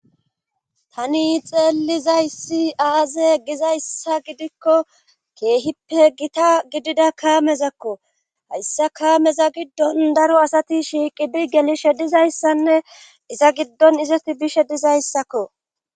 Tani xeelizayssi aaze gizayssa gidikko keehippe gita gidida kaamezakko hayssa kaameza giddon daro asati shiiqi bi geli she dizayssanne iza giddon izati bishe dizayssakko.